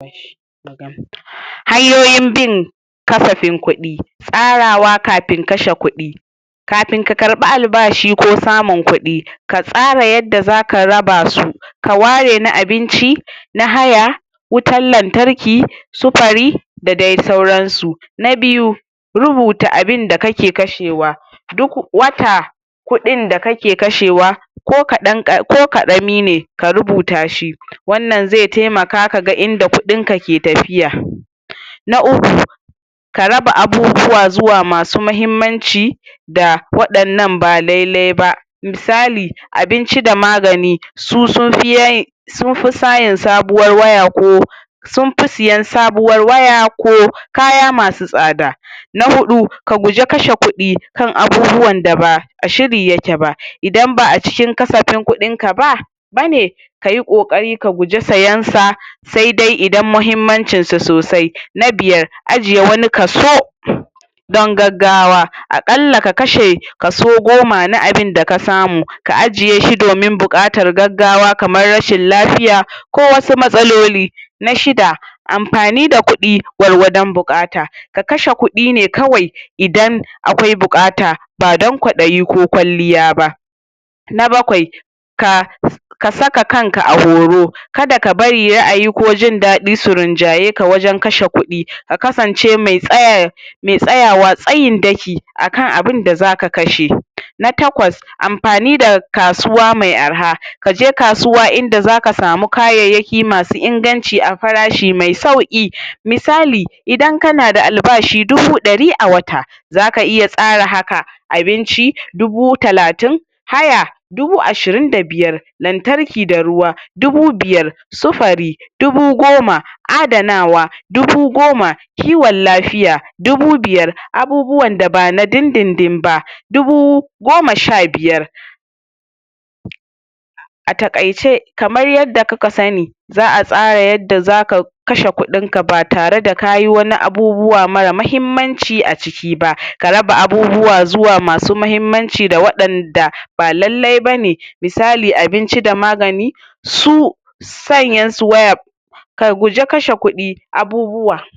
Hanyoyi bin kasafin kuɗi, tsarawa kafin kashe kuɗi. Kafin ka karɓi albashi ko samun kuɗi, ka tsara yadda zaka raba su, ka ware na abinci, na haya, wutan lantarki, wutan lantarki, da sauransu. Na biyu, rubuta abinda kake kashewa, duk wata kuɗin da kake kashewa ko ƙarami ne, ka rubuta shi, wannan zai taimaka kaga inda kuɗin ka ke tafiya. Na uku, ka raba abubuwa zuwa masu mahimmanci, da waɗannan ba lai-lai ba, misali: abinci da magani, sun fi sayin sabuwar waya ko sun fi sayan sabuwar waya ko kaya masu tsada. Na huɗu, ka guja kashe kuɗi kan abubuwan da ba a shiri yake ba, idan ba a cikin kasafin abin kuɗin ka ba bane, kayi ƙoƙoari ka guje sayen sa, sai dai idan muhimmancin su sosai. Na biyar, ajiye wani kaso don gaggawa, a ƙalla ka kashe kaso goma na abinda ka samu, ka ajiye shi domin buƙatar gaggawa, kamar rashin lafiya, ko wasu matsaloli. Na shida, amfani da kuɗi gwargwadon buƙata. Ka kashe kuɗi ne kawai idan akwai buƙata, ba dan kwaɗayi ko kwalliya ba. Na bakwai, ka saka kanka a horo, kada ka bari ra'ayi ko jin daɗi su rinjaye ka wajan kashe kuɗi, ka kasance me tsayawa tsayin daki a kan abunda zaka kashe. Na takwas, amfani da kasuwa mai arha, kaje kasuwa inda zaka samu kayayyaki masu inganci, a fara shi mai sauƙi, misali, idan kana da albashi dubu ɗari a wata, zaka iya tsara haka: abinci dubu talatin, haya dubu ashirin da biyar, lantarki da ruwa dubu biyar, sufari dubu goma, adanawa dubu goma, kiwon lafiya dubu biyar, abubuwan da ba na din-din ba dubu goma sha biyar. A taƙaice, kamar yanda kuka za a tsara yanda za ka kashe kuɗin ka ba tare da kayi wani abubuwa mara muhimmanci a ciki ba, ka raba abubuwa zuwa masu muhimmanci da waɗan da ba lallai bane, misali abinci da magani, su sayen su waya, ka guja kashe kuɗi abubuwa.